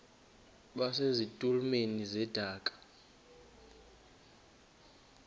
base zitulmeni zedaka